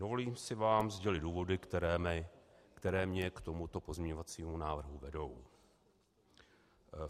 Dovoluji si vám sdělit důvody, které mne k tomuto pozměňovacímu návrhu vedou.